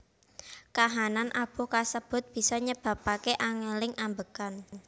Kahanan abuh kasebut bisa nyebabake angeling ambegan